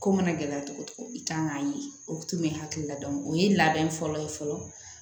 Ko mana gɛlɛ cogo o cogo i kan k'a ye o tun bɛ hakilila dɔn o ye labɛn fɔlɔ ye fɔlɔ